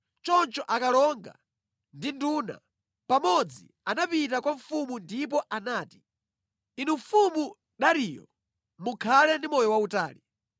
Choncho akalonga ndi nduna pamodzi anapita kwa mfumu ndipo anati: “Inu mfumu Dariyo, mukhale ndi moyo wautali!